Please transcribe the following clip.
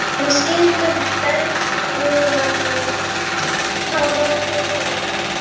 Hvar skyldu bergbúarnir hafa hreiðrað um sig?